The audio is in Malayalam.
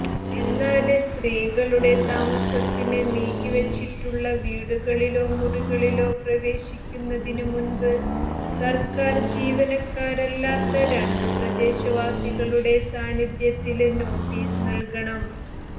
എന്നാല് സ്ത്രീകളുടെ താമസത്തിന് നീക്കിവച്ചിട്ടുള്ള വീടുകളിലോ മുറികളിലോ പ്രവേശിക്കുന്നതിന് മുന്പ് സര്ക്കാര് ജീവനക്കാരല്ലാത്ത രണ്ടു പ്രദേശവാസികളുടെ സാന്നിധ്യത്തില് നോട്ടിസ് നല്കണം